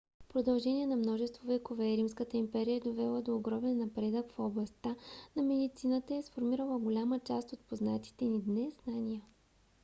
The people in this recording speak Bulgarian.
в продължение на множество векове римската империя е довела до огромен напредък в областта на медицината и е сформирала голяма част от познатите ни днес знания